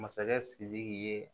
Masakɛ sidiki ye